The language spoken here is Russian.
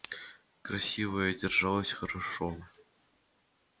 красивая держалась хорошо